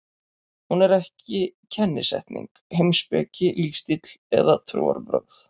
Hún er ekki kennisetning, heimspeki, lífstíll eða trúarbrögð.